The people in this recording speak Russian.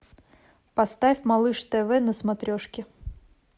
поставь малыш тв на смотрешке